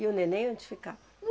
E o neném onde ficava?